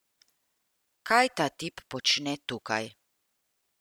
Kaj ta tip počne tukaj?